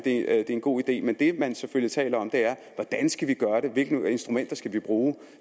er en god idé men det man selvfølgelig taler om er hvordan skal vi gøre det hvilke instrumenter skal vi bruge